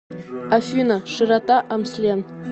афина широта амслен